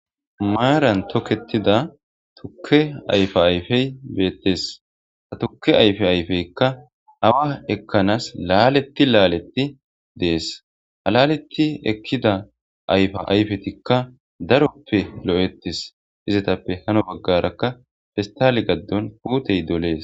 maaran toketida tukke ayfa ayfey beettes ha tuke ayfe ayfeykka awa ekkanas laaletti laaletti dees ha alaletti ekkida ayfa ayfetikka daroppe lo7ettis izetappe hano baggarakka fistali gaddon kuutey dolees